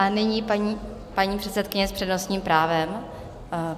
A nyní paní předsedkyně s přednostním právem.